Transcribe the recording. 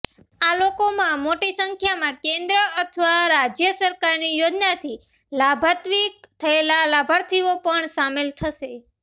આ લોકોમાં મોટી સંખ્યામાં કેન્દ્ર અથવા રાજ્ય સરકારની યોજનાથી લાભાન્વિત થયેલા લાભાર્થીઓ પણ સામેલ થશે